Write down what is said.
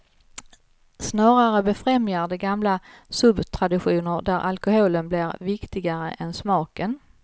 Snarare befrämjar de gamla suptraditioner där alkoholen blir viktigare än smaken.